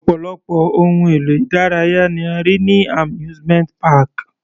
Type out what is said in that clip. Ọ̀pọ̀lọpọ̀ ohun èlò ìdárayá ni a rí ní amusement park.